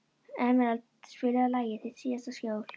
Emerald, spilaðu lagið „Þitt síðasta skjól“.